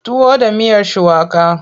Tuwo da miyar shuwaka.